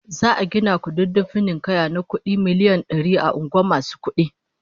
Za'a gina kududdufin ninkaya na kudi miliyan dari a unguwar masu kudin